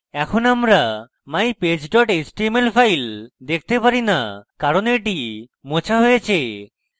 এখানে আমরা mypage html file দেখতে পারি না কারণ এটি মোছা হয়েছে